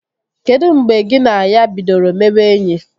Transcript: Kedu mgbe gị na ya bidoro mebe enyi?